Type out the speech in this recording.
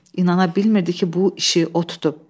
İnana bilmirdi ki, bu işi o tutub.